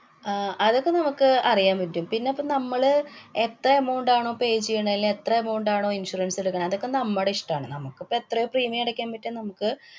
ആഹ് അതൊക്കെ നമ്മക്ക് അറിയാന്‍ പറ്റും. പിന്നെ പ്പ നമ്മള് എത്ര amount ആണോ, pay ചെയ്യണെ, അല്ലെ എത്ര amount ആണോ insurance എടുക്കണെ, അതൊക്കെ നമ്മടെ ഇഷ്ടാണ്. നമുക്കിപ്പോ എത്ര premium അടയ്ക്കാന്‍ പറ്റും നമുക്ക്